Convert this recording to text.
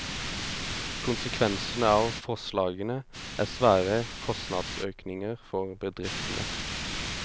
Konsekvensene av forslagene er svære kostnadsøkninger for bedriftene.